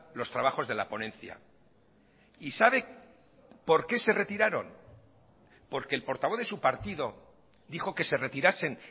los trabajos de la ponencia y sabe por qué se retiraron porque el portavoz de su partido dijo que se retirasen